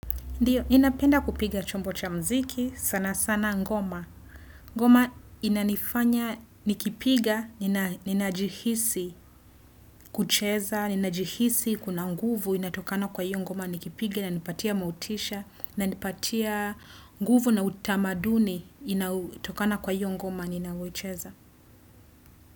Ndiyo, inapenda kupiga chombo cha mziki, sana sana ngoma. Ngoma inanifanya, nikipiga, nina ninajihisi kucheza, nina jihisi kuna nguvu, inatokana kwa hiyo ngoma, nikipiga, inanipatia motisha, inanipatia nguvu na utamaduni, inautokana kwa hiyo ngoma, ninavocheza.